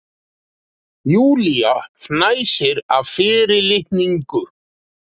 Júlía fnæsir af fyrirlitningu.